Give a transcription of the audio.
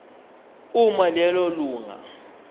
uma lelo lunga